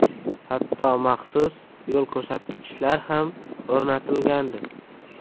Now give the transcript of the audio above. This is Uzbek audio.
Hatto maxsus yo‘l ko‘rsatkichlar ham o‘rnatilgandi.